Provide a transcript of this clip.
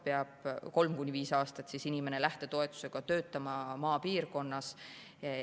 Kolm kuni viis aastat peab inimene lähtetoetusega töötama maapiirkonnas.